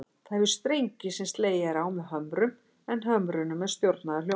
Það hefur strengi sem slegið er á með hömrum, en hömrunum er stjórnað af hljómborði.